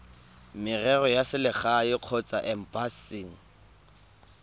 merero ya selegae kgotsa embasing